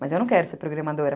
Mas eu não quero ser programadora.